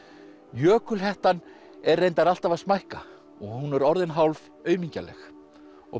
jökulhettan er reyndar alltaf að smækka og hún er orðin hálf aumingjaleg og